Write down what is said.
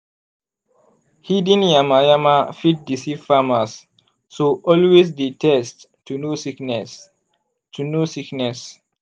hidden yama-yama fit deceive farmers so always dey test to know sickness. to know sickness.